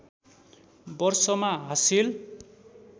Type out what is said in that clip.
वर्षमा हासिल